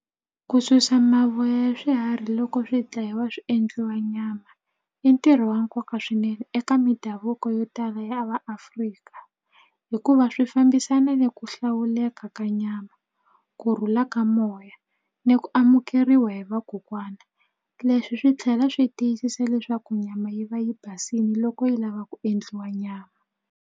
Ku susa mavoya ya swiharhi loko swi dlayiwa swi endliwa nyama i ntirho wa nkoka swinene eka mindhavuko yo tala ya vaAfrika hikuva swi fambisana ni ku hlawula leka ka nyama kurhula ka moya ni ku amukeriwa hi vakokwana leswi swi tlhela swi tiyisisa leswaku nyama yi va yi basini loko yi lava ku endliwa nyama.